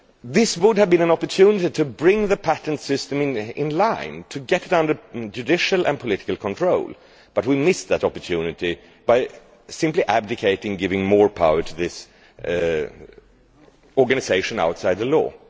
This would have been an opportunity to bring the patent system into line, to get it under judicial and political control, but we have missed that opportunity by simply abdicating and giving more power to this organisation outside the law.